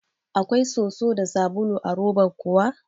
Akwai soso da sabulu a roban kuwa?